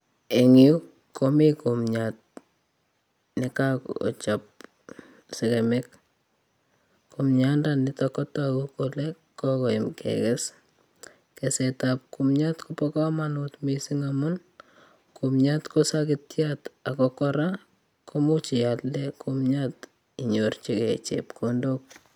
Eng yu komi kumiat nekakochop sekemik. Kumiandaniutok kotogu kole kokoyam kekes. Kumiat kopo komonut mising amun kumiat ko sakitiat ako kora komuch ialde kimiat inyorchigei chepkondok.